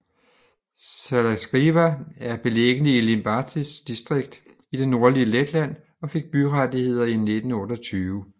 Salacgrīva er beliggende i Limbažis distrikt i det nordlige Letland og fik byrettigheder i 1928